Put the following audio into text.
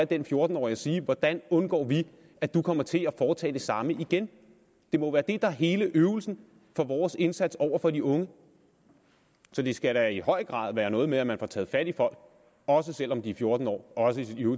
den fjorten årige og sige hvordan undgår vi at du kommer til at foretage det samme igen det må være det der er hele øvelsen for vores indsats over for de unge så det skal da i høj grad være noget med at man får taget fat i folk også selv om de er fjorten år også